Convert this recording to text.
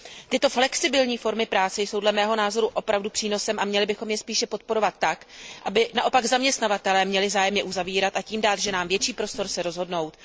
Tyto flexibilní formy práce jsou dle mého názoru opravdu přínosem a měli bychom je spíš podporovat tak, aby naopak zaměstnavatelé měli zájem je uzavírat, a tím dát ženám větší prostor se rozhodnout.